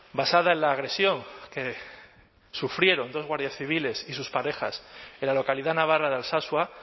basada en la agresión que sufrieron dos guardias civiles y sus parejas en la localidad navarra de alsasua